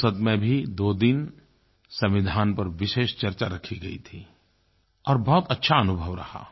संसद में भी दो दिन संविधान पर विशेष चर्चा रखी गई थी और बहुत अच्छा अनुभव रहा